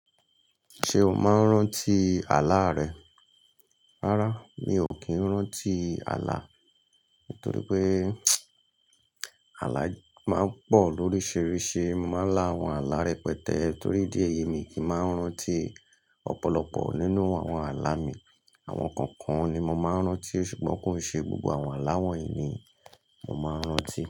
Ṣé o máa ń rántí àlá rẹ? Rárá, mi ò kí ń rántí àlá. Nítorí pé àlá máa ń pọ̀ lóríṣiríṣi. Mo máa ń lá àwọn àlá rẹpẹtẹ torí díẹ̀ yẹ mí kì í máa ń rántí ọ̀pọ̀lọpọ̀ nínú àwọn àlá mi. Àwọn kọ̀ọ̀kan ni mo máa ń rántí ṣùgbọ́n kò ṣe gbogbo àwọn aláwọ̀ ìní mo máa ń rántí.